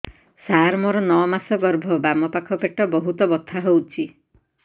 ସାର ମୋର ନଅ ମାସ ଗର୍ଭ ବାମପାଖ ପେଟ ବହୁତ ବଥା ହଉଚି